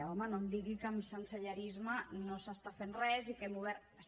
home no em digui que en sensellarisme no s’està fent res i que hem obert